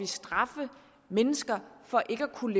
straffe mennesker for ikke at kunne